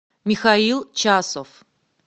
михаил часов